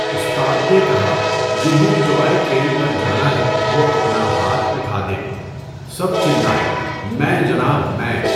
استاد نے کہا، جنہیں ٹؤائے ٹرین پر جانا ہے وہ اپنا ہاتھ اٹھا دیں۔ سب چلائے، میں، جناب میں۔